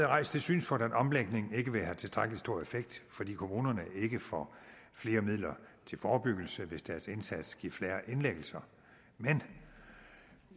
rejst det synspunkt at omlægningen ikke vil have tilstrækkelig stor effekt fordi kommunerne ikke får flere midler til forebyggelse hvis deres indsats giver færre indlæggelser men